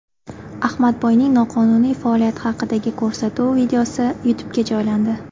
Ahmadboyning noqonuniy faoliyati haqidagi ko‘rsatuv videosi YouTube’ga joylandi .